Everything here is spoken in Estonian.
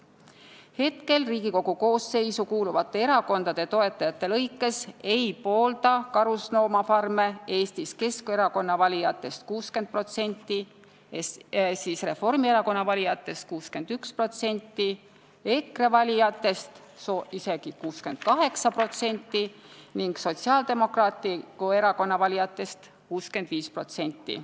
Hetkel Riigikogu koosseisu kuuluvate erakondade toetajatest ei poolda karusloomafarme Eestis Keskerakonna valijatest 60%, Reformierakonna valijatest 61%, EKRE valijatest isegi 68% ning Sotsiaaldemokraatliku Erakonna valijatest 65%.